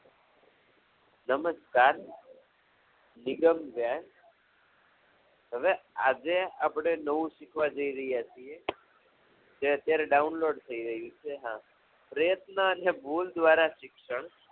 નમસ્કાર જિગમ વ્યાસ હવે આજે આપણે નવું શીખવા જઇ રહ્યા છીએ જે અત્યારે download થઈ રહ્યું છે હા પ્રયત્ન અને ભૂલ દ્વારા શિક્ષણ